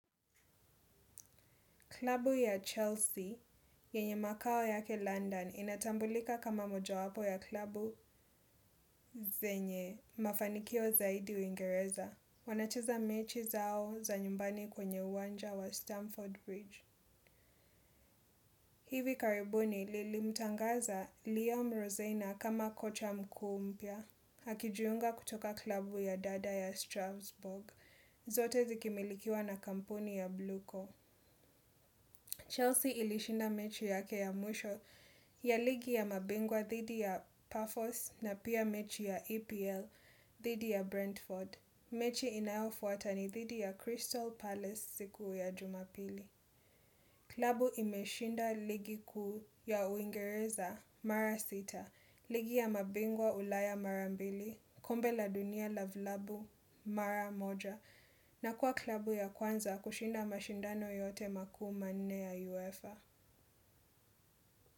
Klabu ya Chelsea, yenye makao yake London, inatambulika kama moja wapo ya klabu zenye, mafanikio zaidi uingereza. Wanacheza mechi zao za nyumbani kwenye uwanja wa Stamford Bridge. Hivi karibuni lilimtangaza Liam Rosena kama kocha mkuu mpya, akijuunga kutoka klabu ya dada ya Strasbourg, zote zikimilikiwa na kampuni ya Bluko. Chelsea ilishinda mechi yake ya mwisho ya ligi ya mabingwa thidi ya Paphos na pia mechi ya EPL thidi ya Brentford. Mechi inayofuata ni thidi ya Crystal Palace siku ya Jumapili. Klabu imeshinda ligi kuu ya uingereza mara sita. Ligi ya mabingwa ulaya mara mbili, kombe la dunia la vlabu mara moja. Na kuwa klabu ya kwanza kushinda mashindano yote makuu ma nne ya UEFA.